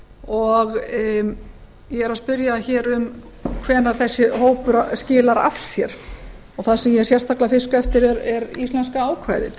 og ég er að spyrja um hvenær þessi hópur skilar af sér og það sem ég er sérstaklega að fiska eftir er íslenska ákvæðið